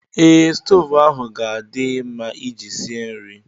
Ee, stoovu ahụ ga-adị mma Ị ji sie nri